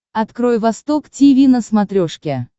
открой восток тиви на смотрешке